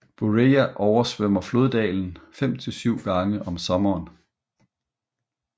Bureja oversvømmer floddalen fem til syv gange om sommeren